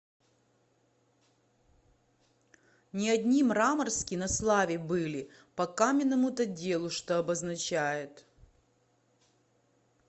не одни мраморски на славе были по каменному то делу что обозначает